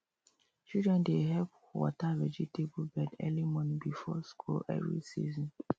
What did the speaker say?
children dey help water vegetable bed early morning before school every season